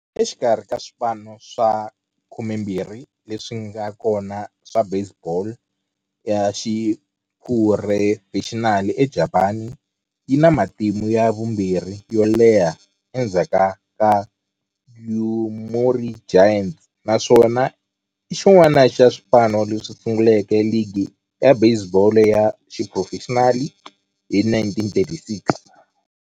Exikarhi ka swipano swa 12 leswi nga kona swa baseball ya xiphurofexinali eJapani, yi na matimu ya vumbirhi yo leha endzhaku ka Yomiuri Giants, naswona i xin'wana xa swipano leswi sunguleke ligi ya baseball ya xiphurofexinali hi 1936.